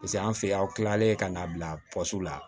Paseke an fɛ yan aw kilalen ka n'a bila la